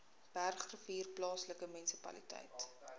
bergrivier plaaslike munisipaliteit